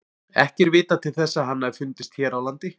Ekki er vitað til þess að hann hafi fundist hér á landi.